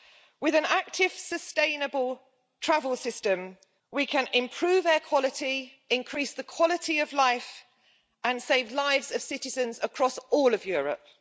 With an active, sustainable travel system we can improve air quality, increase the quality of life, and save lives of citizens across all of Europe.